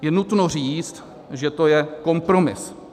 Je nutno říct, že to je kompromis.